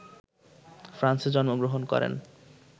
ফ্রান্সে জন্মগ্রহণ করেন